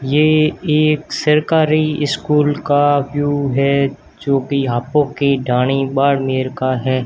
ये एक सरकारी स्कूल का व्यू है जो कि हापो के दाढ़ी वारनेर का है।